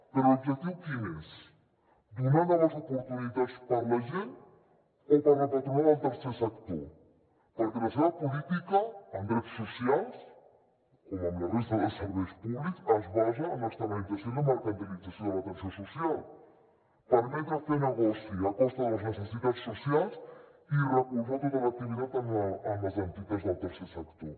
però l’objectiu quin és donar noves oportunitats per a la gent o per a la patronal del tercer sector perquè la seva política en drets socials com en la resta de serveis públics es basa en l’externalització i la mercantilització de l’atenció social permetre fer negoci a costa de les necessitats socials i recolzar tota l’activitat en les entitats del tercer sector